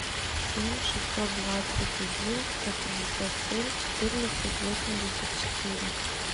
семь шестьсот двадцать один сто пятьдесят семь четырнадцать восемьдесят четыре